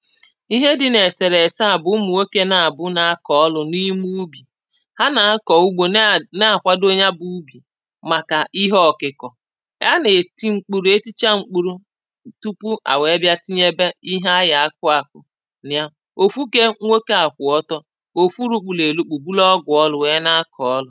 ihe dị n’èsèrèse à bụ̀ ụmụ̀ nwokė na-àbụ na-akọ̀ ọlụ̇ n’ime ubì ha nà-akọ̀ ugbo na na-àkwado ya bụ̇ ubì màkà ihe ọ̀kị̀kọ̀ a nà-èti ṁkpuru etịchaa ṁkpurụu tupu à wèe bịa tinyebe ihe anyà akụ àkụ nà ya òfu ké nwokė à kwụ̀ ọtọ òfu rukpuru èlukpù bụlụ ọgwụ̀ ọlụ̇ wèe na-akọ̀ ọlụ̇